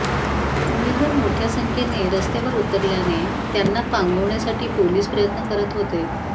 उमेदवार मोठ्या संख्येने रस्त्यावर उतरल्याने त्यांना पांगवण्यासाठी पोलीस प्रयत्न करत होते